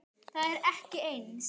Það er ekki eins.